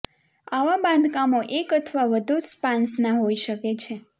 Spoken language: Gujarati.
આવા બાંધકામો એક અથવા વધુ સ્પાન્સના હોઈ શકે છે